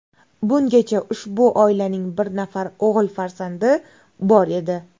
Bungacha ushbu oilaning bir nafar o‘g‘il farzandi bor edi.